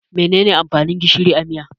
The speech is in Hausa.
Mene ne amfanin gishiri a miya?